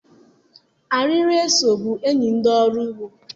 Arịrị eso bụ enyi ndị ọrụ ugbo.